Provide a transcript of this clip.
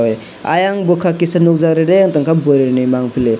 ayang bukhak kisa nukjak rereh ungwi tongkha bwrui ni mangpili.